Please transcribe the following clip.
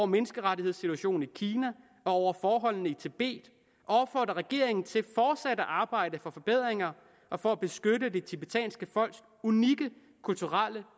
menneskerettighedssituationen i kina og over forholdene i tibet og opfordrer regeringen til fortsat at arbejde for forbedringer og for at beskytte det tibetanske folks unikke kulturelle